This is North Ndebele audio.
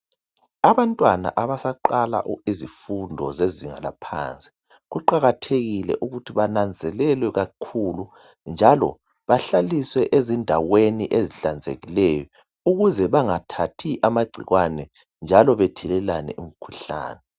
Abantwana abasaqala izifundo zezinga laphansi kuqakathekile ukuthi bananzelelwe kakhulu njalo bahlaliswe ezindaweni ezihlanzekileyo ukuze bengathathi amagcikwane njalo bethelelane imkhuhlane.